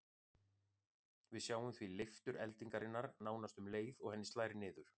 Við sjáum því leiftur eldingarinnar nánast um leið og henni slær niður.